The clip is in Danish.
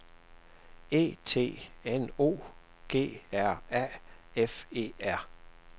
E T N O G R A F E R